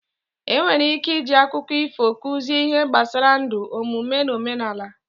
Enwere ike iji akụkọ ifo kụzie ihe gbasara ndụ, omume, na omenala.